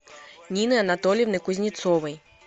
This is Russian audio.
нины анатольевны кузнецовой